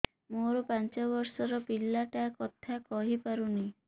ମୋର ପାଞ୍ଚ ଵର୍ଷ ର ପିଲା ଟା କଥା କହି ପାରୁନି